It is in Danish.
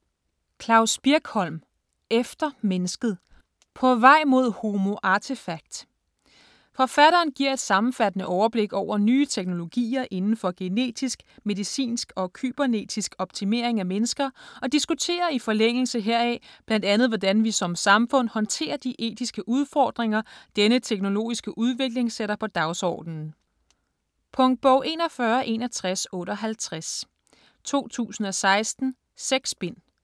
Birkholm, Klavs: Efter mennesket: på vej mod homo artefakt Forfatteren giver et sammenfattende overblik over nye teknologier inden for genetisk, medicinsk og kybernetisk optimering af mennesker, og diskuterer i forlængelse heraf bl.a. hvordan vi som samfund håndterer de etiske udfordringer denne teknologiske udvikling sætter på dagsordenen. Punktbog 416158 2016. 6 bind.